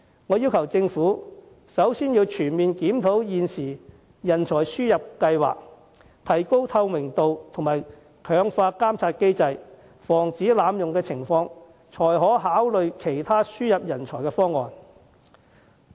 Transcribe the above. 我要求政府先全面檢討現時的人才輸入計劃，提高透明度和強化監察機制，防止濫用情況，然後才考慮其他輸入人才方案。